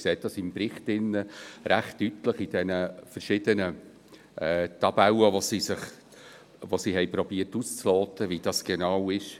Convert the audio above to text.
Sie sehen dies im Bericht recht deutlich in den verschiedenen Tabellen, mit denen sie versucht haben, auszuloten, wie dies genau ist.